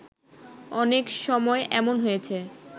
অনেক সময় এমন হয়েছে